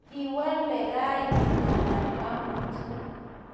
Kwealee rani anan amut?